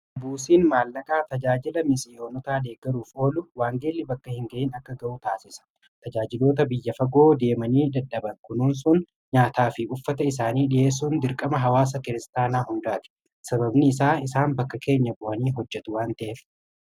buusiin maallaqaa tajaajila miseyoonotaadhee garuuf oolu waangeelli bakka hin ga'iin akka ga'u taasisa tajaajiloota biyya fagoo deemanii daddhaban kunuun sun nyaataa fi uffata isaanii dhi'eessuun dirqama hawaasa kiristaanaa hundaati sababni isaa isaan bakka keenya bu'anii hojjetu waanta'ef